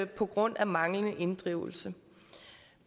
på grund af manglende inddrivelse